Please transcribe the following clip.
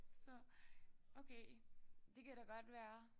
Så okay det kan da godt være